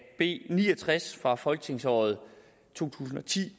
b ni og tres fra folketingsåret to tusind og ti